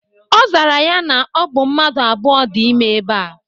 Ozara ya na obu mmadu abuo di ime eba.